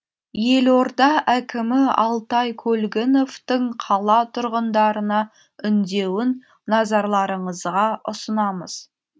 елорда әкімі алтай көлгіновтың қала тұрғындарына үндеуін назарларыңызға ұсынамыз